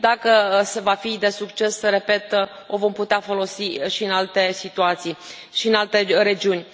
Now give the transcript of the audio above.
Dacă, va fi de succes, repet, o vom putea folosi și în alte situații, și în alte regiuni.